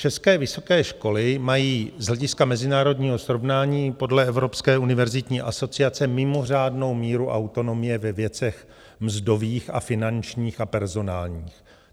České vysoké školy mají z hlediska mezinárodního srovnání podle Evropské univerzitní asociace mimořádnou míru autonomie ve věcech mzdových a finančních a personálních.